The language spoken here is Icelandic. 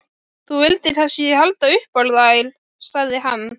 Þú vildir kannski halda upp á þær, sagði hann.